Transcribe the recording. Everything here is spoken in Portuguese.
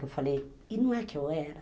Eu falei, e não é que eu era.